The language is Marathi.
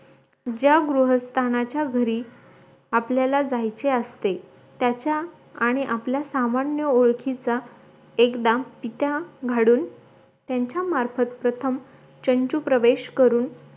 ज्या गृहस्थानाच्या घरी आपल्याला जायच असते त्याच्या आणी आपल्या सामान्य ओळखीचा एकदा पित्याकडून त्यांचा मार्फत प्रथम चंचुप्रवेश करून